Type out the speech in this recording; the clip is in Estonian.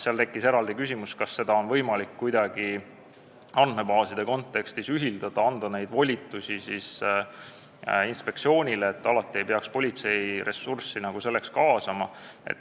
Tekkis küsimus, kas seda on võimalik kuidagi andmebaaside kontekstis ühildada ja anda neid volitusi inspektsioonile, et alati ei peaks selleks politseiressurssi kaasama.